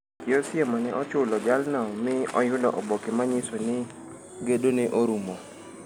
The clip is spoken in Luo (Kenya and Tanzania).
Chi Osiemo ne ochulo jalno mi oyudo oboke manyiso ni gedo ne orumo.